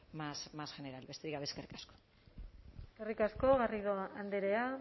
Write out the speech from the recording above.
más general besterik gabe eskerrik asko eskerrik asko garrido andrea